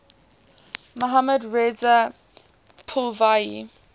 mohammad reza pahlavi